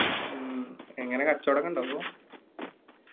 മ്മ് എങ്ങനെ കച്ചോടൊക്കെ ഇണ്ട ഇപ്പോ?